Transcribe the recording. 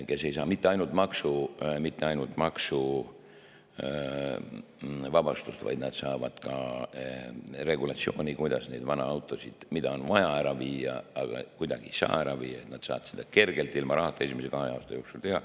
Nad ei saa mitte ainult maksuvabastust, vaid nad saavad ka regulatsiooni, kuidas nende vanaautode puhul, mida on vaja ära viia, aga kuidagi ei saa ära viia, nad saavad seda kergelt ilma rahata esimese kahe aasta jooksul teha.